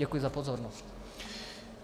Děkuji za pozornost.